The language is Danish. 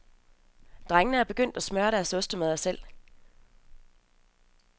Drengene er begyndt at smøre deres ostemadder selv.